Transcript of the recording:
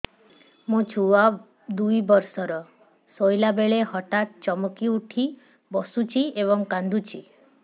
ମୋ ଛୁଆ ଦୁଇ ବର୍ଷର ଶୋଇଲା ବେଳେ ହଠାତ୍ ଚମକି ଉଠି ବସୁଛି ଏବଂ କାଂଦୁଛି